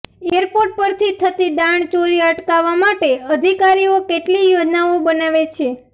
airport પરથી થતી દાણચોરી અટકાવવા માટે અધિકારીઓ કેટલીય યોજનાઓ બનાવે છે